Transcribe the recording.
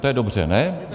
To je dobře, ne?